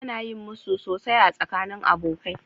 Ana yin musu sosai a tsakanin abokai.